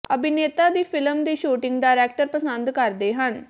ਅਭਿਨੇਤਾ ਦੀ ਫਿਲਮ ਦੀ ਸ਼ੂਟਿੰਗ ਡਾਇਰੈਕਟਰ ਪਸੰਦ ਕਰਦੇ ਹਨ